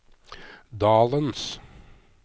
dalens